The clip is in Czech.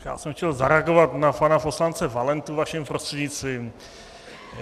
Já jsem chtěl zareagovat na pana poslance Valentu vaším prostřednictvím.